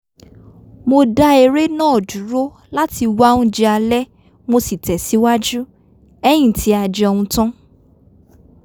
mo dá eré náà dúró láti wá oúnjẹ alẹ́ mo sì tẹ̀síwájú ;ẹ́yìn tí a jẹun tán